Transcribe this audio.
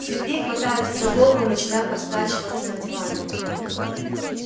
сергей хватается за голову и начинает раскачиваться на диване